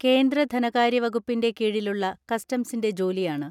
കേന്ദ്ര ധനകാര്യ വകുപ്പിന്റെ കീഴിലുള്ള കസ്റ്റംസിന്റെ ജോലിയാണ്.